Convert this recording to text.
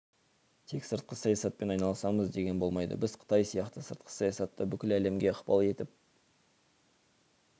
тек сыртқы саясатпен айналысамыз деген болмайды біз қытай сияқты сыртқы саясатта бүкіл әлемге ықпал етіп